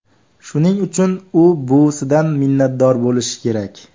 Shuning uchun u buvisidan minnatdor bo‘lishi kerak.